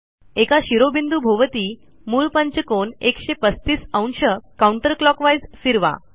एका शिरोबिंदूभोवती मूळ पंचकोन 135°counter क्लॉकवाईज फिरवा